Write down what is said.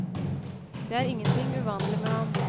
Det er ingenting uvanlig med ham.